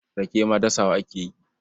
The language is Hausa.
Rake ma dasawa ake yi.